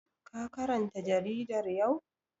Ka karanta jaridar yau?